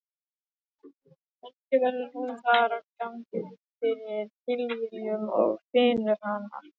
Kannski verður hún þar á gangi fyrir tilviljun og finnur hana.